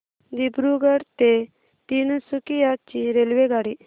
दिब्रुगढ ते तिनसुकिया ची रेल्वेगाडी